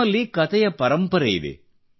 ನಮ್ಮಲ್ಲಿ ಕತೆಯ ಪರಂಪರೆಯಿದೆ